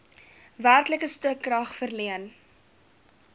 werklike stukrag verleen